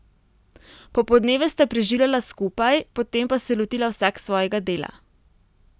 Popoldneve sta preživljala skupaj, potem pa se lotila vsak svojega dela.